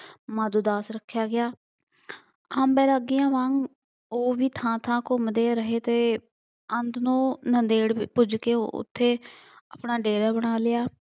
ਮਾਧੋ ਦਾਸ ਰੱਖਿਆ ਗਿਆ। ਬੈਰਾਗੀਆਂ ਵਾਂਗ ਉਹ ਵੀ ਥਾਂ ਥਾਂ ਘੁੰਮਦੇ ਰਹੇ ਅਤੇ ਅੰਤ ਨੂੰ ਨਾਂਦੇੜ ਵਿਪੁੱਜ ਗਏ ਅਤੇ ਆਪਣਾ ਡੇਰਾ ਬਣਾ ਲਿਆ।